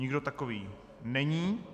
Nikdo takový není.